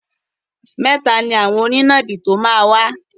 Mẹ́ta ni àwọn onínàbì tó máa wá.